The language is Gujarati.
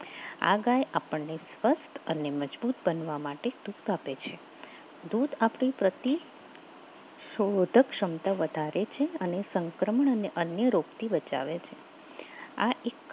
આ ગાય આપણને સ્વસ્થ અને મજબૂત બનવા માટે દૂધ આપે છે દૂધ આપણી પ્રતિ શોધક ક્ષમતા વધારે છે અને સંક્રમણ અને અન્ય રોગથી બચાવે છે આ એક